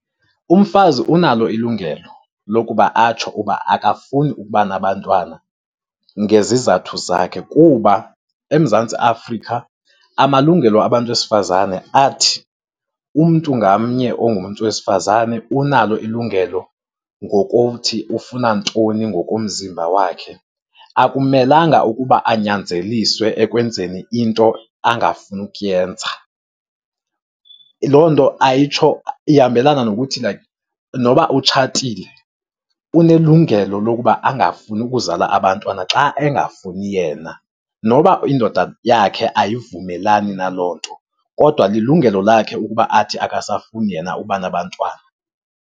Umfazi unalo ilungelo lokuba atsho uba akafuni ukuba nabantwana ngezizathu zakhe kuba eMzantsi Afrika amalungelo abantu besifazane athi, umntu ngamnye ongumntu wesifazane unalo ilungelo ngokuthi ufuna ntoni ngokomzimba wakhe. Akumelanga ukuba anyanzeliswe ekwenzeni into angafuni ukuyenza. Loo nto ayitsho, ihambelana nokuthi like noba utshatile, unelungelo lokuba angafuni ukuzala abantwana xa engafuni yena. Noba indoda yakhe ayivumelani na loo nto kodwa lilungelo lakhe ukuba athi akasafuni yena ukuba nabantwana.